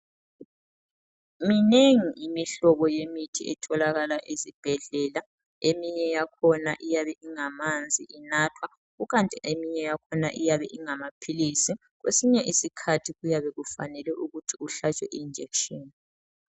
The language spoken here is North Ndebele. Minengi imihlobo yemithi etholakala ezibhedlela eminye yakhona iyabe ingamanzi inathwa kukanti eminye yakhona iyabe ingamaphilisi kwesinye isikhathi kuyabe kufanele ukuthi uhlatshwe i injection.